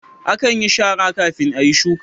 Akan yin shara kafin ayi shuka